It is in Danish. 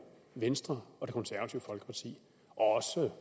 venstre og